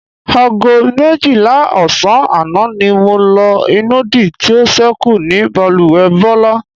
Aago méjìlá ò̩sán àná ni mo lo ìnùdí tí ó s̩é̩kù ní balùwè̩ Bó̩lá.